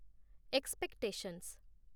expectations